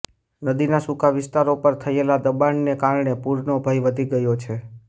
નદીના સૂકા વિસ્તારો પર થયેલા દબાણોને કારણે પૂરનો ભય વધી ગયો છે